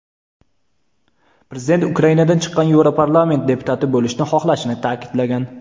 Prezident Ukrainadan chiqqan Yevroparlament deputati bo‘lishni xohlashini ta’kidlagan.